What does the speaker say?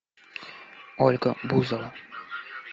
ольга бузова